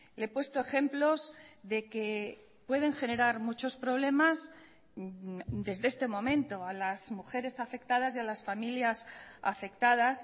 le he puesto ejemplos de que pueden generar muchos problemas desde este momento a las mujeres afectadas y a las familias afectadas